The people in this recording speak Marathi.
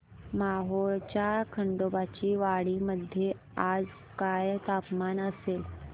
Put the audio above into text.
मोहोळच्या खंडोबाची वाडी मध्ये आज काय तापमान असेल